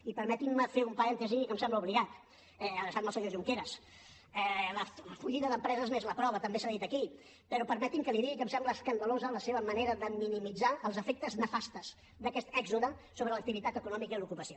i permetin me fer un parèntesi i que em sembla obligat adreçant me al senyor junqueras la fugida d’empreses n’és la prova també s’ha dit aquí però permeti’m que li digui que em sembla escandalosa la seva manera de minimitzar els efectes nefastos d’aquest èxode sobre l’activitat econòmica i l’ocupació